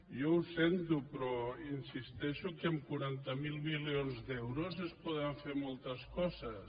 jo ho sento però insisteixo que amb quaranta miler milions d’euros es poden fer moltes coses